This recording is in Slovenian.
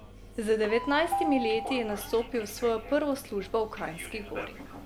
Z devetnajstimi leti je nastopil svojo prvo službo v Kranjski Gori.